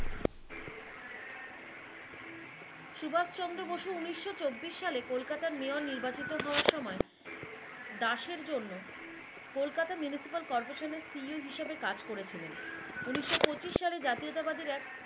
সুভাস চন্দ্র বসু উনিশও চব্বিশ সালে দাসের জন্য কোলকাতা মেয়র নির্বাচিত হওয়ার সময় দাসের জন্য কোলকাতা মিনিসিপেল কর্পোরেশন CEO হিসেবে কাজ করেছিলেন । উনিশও পঁচিশ সালের জাতীয়তা বাদীর এক